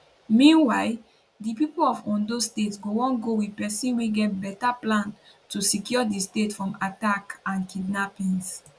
meanwhile di pipo of ondo state go wan go wit pesin wey get beta plan to secure di state from attacks and kidnappings